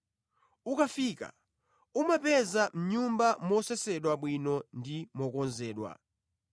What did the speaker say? Ukafika umapeza mʼnyumba mosesedwa bwino ndi mokonza.